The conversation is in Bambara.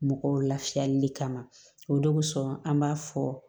Mɔgɔw lafiyali de kama o donsɔn an b'a fɔ